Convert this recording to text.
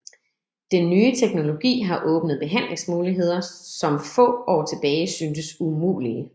Den nye teknologi har åbnet behandlingsmuligheder som få år tilbage syntes umulige